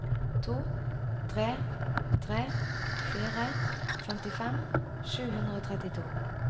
to tre tre fire femtifem sju hundre og trettito